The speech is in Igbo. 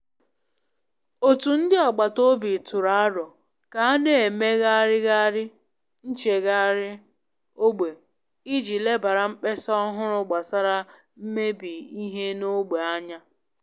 Otu ndị agbata obi tụrụ aro ka a na emegharịgharị nchegharị ogbe i ji lebara mkpesa ọhụrụ gbasara mmebi ihe n'ogbe anya.